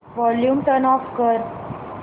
volume turn off कर